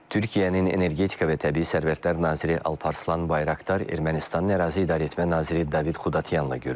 Türkiyənin Energetika və Təbii Sərvətlər naziri Alparslan Bayraqdar Ermənistanın Ərazi İdarəetmə naziri David Xudatyanla görüşüb.